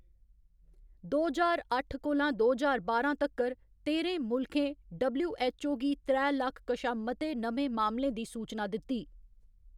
दो ज्हार अट्ठ कोला दो ज्हार बारां तक्कर, तेह्‌रें मुल्खें डबल्यू.एच्च.ओ. गी त्रै लक्ख कशा मते नमें मामलें दी सूचना दित्ती।